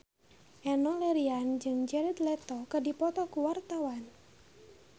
Enno Lerian jeung Jared Leto keur dipoto ku wartawan